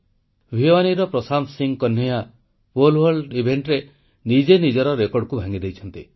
ଭୀୱାନୀର Prashant Singh Kanhaiya pole vault ଇଭେଂଟରେ ନିଜେ ନିଜର ରେକର୍ଡ଼କୁ ଭାଙ୍ଗିଦେଇଛନ୍ତି